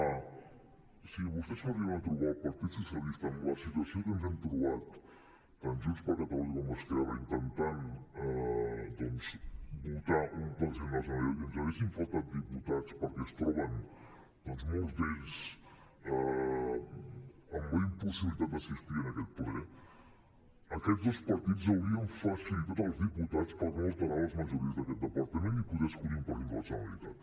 si vostès s’arriben a trobar el partit socialista amb la situació que ens hem trobat tant junts per catalunya com esquerra intentant votar un president de la generalitat i ens haguessin faltat diputats perquè es troben molts d’ells amb la impossibilitat d’assistir en aquest ple aquests dos partits haurien facilitat els diputats per no alterar les majories d’aquest parlament i poder escollir un president de la generalitat